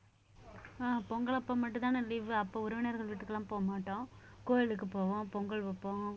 அஹ் பொங்கல் அப்போ மட்டும்தானே leave அப்போ உறவினர்கள் வீட்டுக்கெல்லாம் போக மாட்டோம் கோயிலுக்கு போவோம் பொங்கல் வைப்போம்